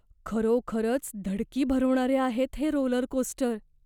खरोखरच धडकी भरवणारे आहेत हे रोलरकोस्टर.